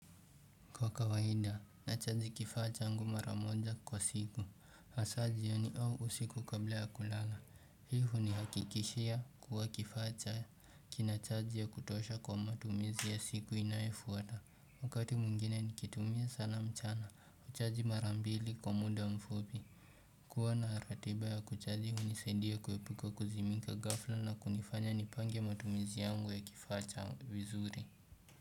Kwa kawaida, nachaji kifaa changu mara moja kwa siku, hasa jioni au usiku kabla ya kulala, hivo nahakikishia kuwa kifaa kina chaji ya kutosha kwa matumizi ya siku inayofuata, wakati mwingine nikiitumia sana mchana, huchaji mara mbili kwa muda mfupi kuwa na ratiba ya kuchaji hunisaidia kuepuka kuzimika ghafla na kunifanya nipange matumizi yangu ya kifacha vizuri.